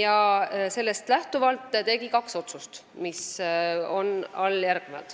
ja tegi sellest lähtuvalt kaks otsust.